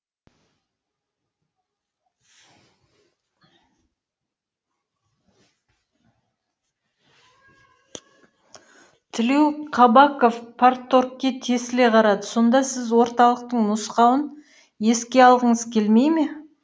тілеуқабақов парторгке тесіле қарады сонда сіз орталықтың нұсқауын еске алғыңыз келмей ме